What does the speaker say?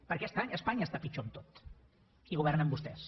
perquè espanya està pitjor en tot i governen vostès